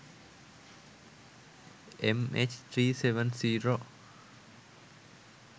mh370